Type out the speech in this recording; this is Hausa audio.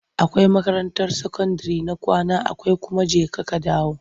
Akwai makarantar sakandire ta kwana akwai kuma jeka-kadawo.